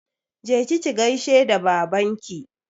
Je ki ki gaishe da babanki!